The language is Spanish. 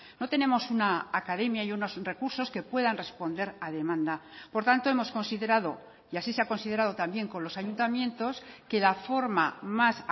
no tenemos una academia y unos recursos que puedan responder a demanda por tanto hemos considerado y así se ha considerado también con los ayuntamientos que la forma más